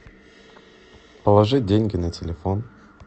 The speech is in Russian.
положить деньги на телефон